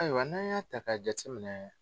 Ayiwa n'an y'a ta ka jati minɛ